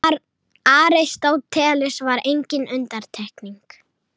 Aristóteles var engin undantekning.